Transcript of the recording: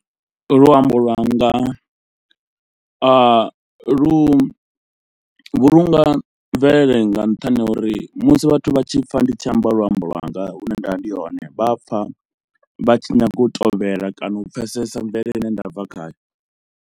Luambo lwanga a lu vhulunga mvelele nga nṱhani ha uri musi vhathu vha tshi pfha ndi tshi amba luambo lwanga hune nda vha ndi hone vha pfha vha tshi nyaga u tovhela kana u pfhesesa mvelele i ne nda bva khayo.